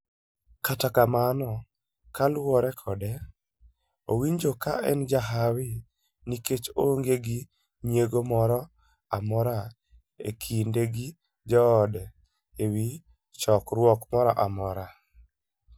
Katakamano kaluore kode, owinjo kaenjahawi, nikech oonge gi nyiego moro amora ekinde gi joode ewi chokruok moroamora